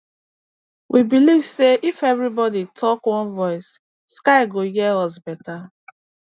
we believe say if everybody talk one voice sky go hear us better